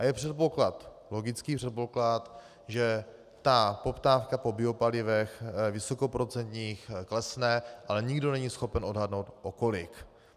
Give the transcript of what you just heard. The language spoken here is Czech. A je předpoklad, logický předpoklad, že ta poptávka po biopalivech vysokoprocentních klesne, ale nikdo není schopen odhadnout o kolik.